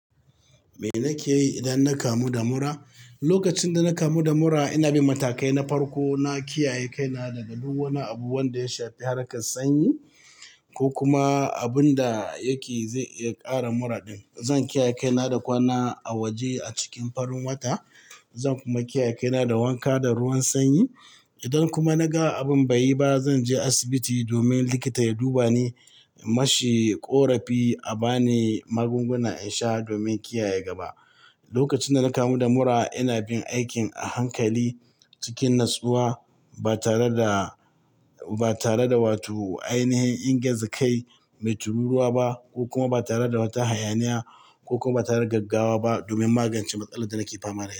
Me nake yi idan na kamu da mura? Lokacin dana kamu da mura, ina bin matakai na farko na kiyaye kaina daga duk wani abu wanda ya shafi harkar sanyi ko kuma abunda yake zai iya ƙara mura din. Zan kiyaye kaina da kwana a waje a cikin farin wata, zan kuma kiyaye kaina da wanka da ruwan sanyi. Idan kuma naga abin bayi ba, zanje asibiti domin likita ya dubani, in mashi ƙorafi a bani magunguna insha domin kiyaye gaba. Lokacin dana kamu da mura, ina bin aikin a hankali cikin natsuwa ba tare da, ba tare da wato ainihin ingiza kai mai tururuwa ba ko kuma ba tare da wata hayaniya ko kuma ba tare da gaggawa ba domin magance matsalar da nake fama da.